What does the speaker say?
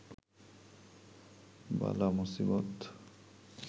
বালা মুসিবত